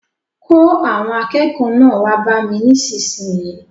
Kó àwọn akẹ́kọ̀ọ́ náà wá bá mi nísinsìnyí!